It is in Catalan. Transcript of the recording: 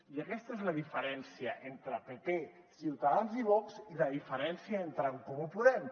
i aquesta és la diferència entre pp ciutadans i vox i la diferència entre en comú podem